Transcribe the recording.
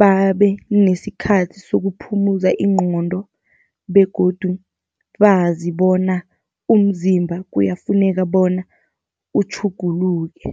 babe nesikhathi sokuphumuza ingqondo begodu bazi bona umzimba kuyafuneka bona utjhuguluke.